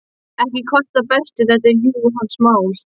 Ekki kvartar Berti, þetta er jú hans mál.